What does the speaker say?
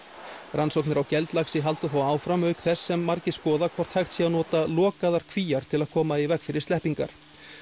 rannsóknir á halda þó áfram auk þess sem margir skoða hvort hægt sé að nota lokaðar Kvíar til að koma í veg fyrir sleppingar